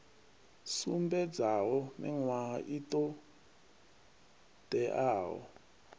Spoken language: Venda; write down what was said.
sumbedzaho miṅwaha i ṱo ḓeaho